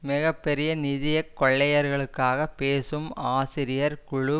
மிக பெரிய நிதிய கொள்ளையர்களுக்காக பேசும் ஆசிரியர் குழு